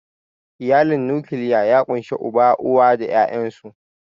Iyalin nukiliya ya ƙunshi Uba, Uwa, da ƴaƴansu.